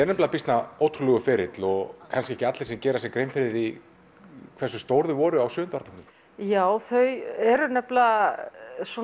nefnilega býsna ótrúlegur ferill og kannski ekki allir sem gera sér grein fyrir því hversu stór þau voru á sjöunda áratugnum já þau eru nefnilega